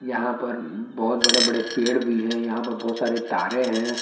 यहां पर बहोत बड़े बड़े पेड़ भी हैं यहां पर बहोत सारे तारे हैं।